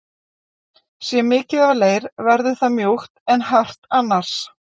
Sé mikið af leir verður það mjúkt en hart annars.